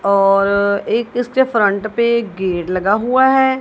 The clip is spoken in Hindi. और एक इसके फ्रंट पे गेट लगा हुआ है।